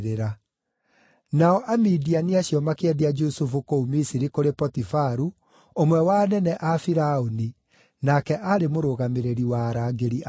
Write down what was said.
Nao Amidiani acio makĩendia Jusufu kũu Misiri kũrĩ Potifaru, ũmwe wa anene a Firaũni, nake aarĩ mũrũgamĩrĩri wa arangĩri a Firaũni.